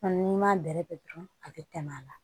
N'i m'a bɛrɛ bɛn dɔrɔn a bɛ tɛmɛ a la